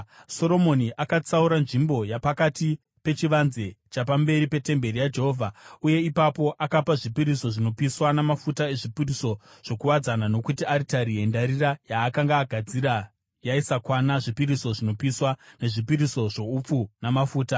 Soromoni akatsaura nzvimbo yapakati pechivanze chapamberi petemberi yaJehovha uye ipapo akapa zvipiriso zvinopiswa namafuta ezvipiriso zvokuwadzana, nokuti aritari yendarira yaakanga agadzira yaisakwana zvipiriso zvinopiswa, nezvipiriso zvoupfu namafuta.